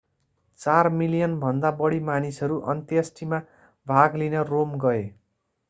चार मिलियनभन्दा बढी मानिसहरू अन्त्येष्टिमा भाग लिन रोम गए